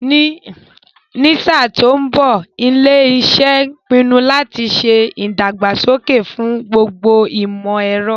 Ní sáà tó ń bọ̀, ilé iṣẹ́ ń pinu láti ṣe ìdàgbàsókè fún gbogbo ìmọ̀ ẹ̀rọ